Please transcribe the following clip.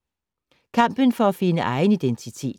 Kampen for at finde egen identitet